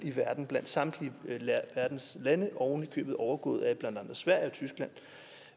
i verden blandt samtlige verdens lande og oven i købet overgår blandt andre sverige og tyskland